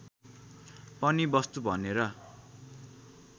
पनि वस्तु बनेर